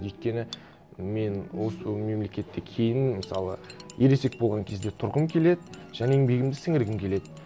өйткені мен осы мемлекетте кейін мысалы ересек болған кезде тұрғым келеді және еңбегімді сіңіргім келеді